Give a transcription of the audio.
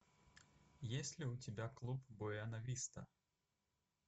есть ли у тебя клуб буэна виста